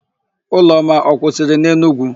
Ụlọma ọ kwụsịrị n'Enugwu?